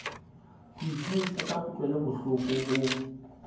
ho itlhahisa ka kutlwelobohloko ho